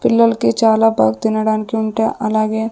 పిల్లలకి చాలా బాగ్ తినటానికి ఉంటే అలాగే.